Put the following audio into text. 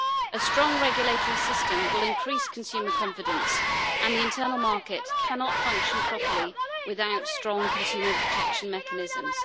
A strong regulatory system will increase consumer confidence and the internal market cannot function properly without strong consumer protection mechanisms.